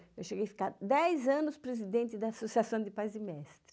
Eu cheguei a ficar dez anos presidente da Associação de Pais e Mestres.